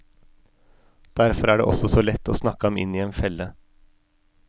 Derfor er det også så lett å snakke ham inn i en felle.